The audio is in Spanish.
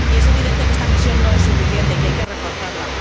Y es evidente que esta misión no es suficiente y que hay que reforzarla.